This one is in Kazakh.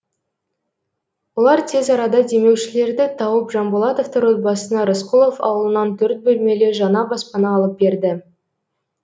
олар тез арада демеушілерді тауып жанболатовтар отбасына рысқұлов ауылынан төрт бөлмелі жаңа баспана алып берді